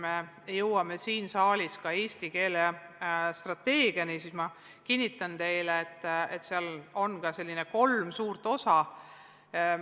Me jõuame siin saalis ka eesti keele strateegia arutamiseni ja ma kinnitan teile, et seal on veel kolmas suur osa.